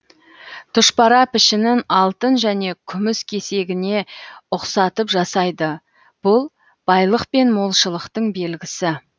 тұшпара пішінін алтын және күміс кесегіне ұқсатып жасайды бұл байлық пен молшылықтың белгісі